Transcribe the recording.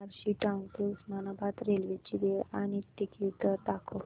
Barshi town ते Osmanabad railway ची वेळ आणि तिकीट दर दाखव